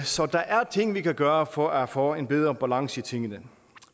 så der er ting vi kan gøre for at få en bedre balance i tingene